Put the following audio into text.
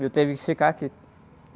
E eu tive que ficar aqui.